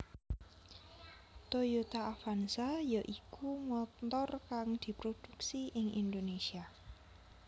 Toyota Avanza ya iku montor kang diprodhuksi ing Indonésia